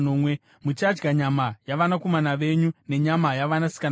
Muchadya nyama yavanakomana venyu nenyama yavanasikana venyu.